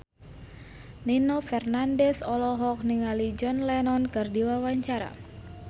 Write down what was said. Nino Fernandez olohok ningali John Lennon keur diwawancara